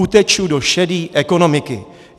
Uteču do šedý ekonomiky.